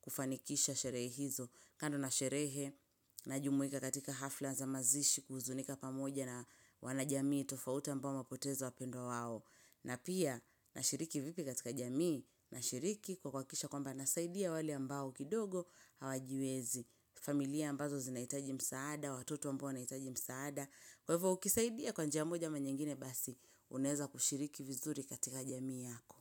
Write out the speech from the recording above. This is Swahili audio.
kufanikisha sherehi hizo. Kando na sherehe na jumuika katika hafla za mazishi kuhuzunika pamoja na wana jamii tofauta ambao wamepoteza wapendwa wao. Na pia na shiriki vipi katika jamii na shiriki kwa kuakisha kwamba nasaidia wali ambao kidogo hawajiwezi. Familia ambazo zinaitaji msaada, watoto ambao naitaji msaada. Kwa hivyo ukisaidia kwa njia moja ama nyingine basi unaeza kushiriki vizuri katika jamii yako.